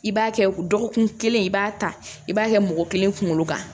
I b'a kɛ dɔgɔkun kelen i b'a ta i b'a kɛ mɔgɔ kelen kunkolo kan